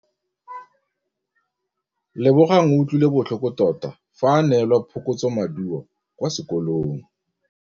Lebogang o utlwile botlhoko tota fa a neelwa phokotsômaduô kwa sekolong.